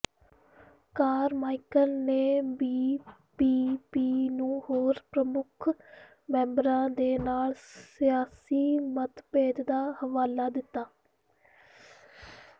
Carmichael ਨੇ BPP ਨੂੰ ਹੋਰ ਪ੍ਰਮੁੱਖ ਮੈਂਬਰਾਂ ਦੇ ਨਾਲ ਸਿਆਸੀ ਮਤਭੇਦ ਦਾ ਹਵਾਲਾ ਦਿੱਤਾ